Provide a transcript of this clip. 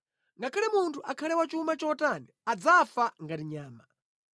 Ngakhale munthu akhale wachuma chotani, adzafa ngati nyama.